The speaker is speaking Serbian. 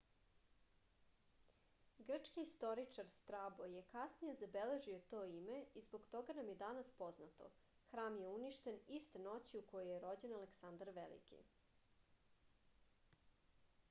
grčki istoričar strabo je kasnije zabeležio to ime i zbog toga nam je danas poznato hram je uništen iste noći u kojoj je rođen aleksandar veliki